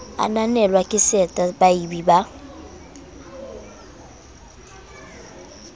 ananelwa ke seta baabi ba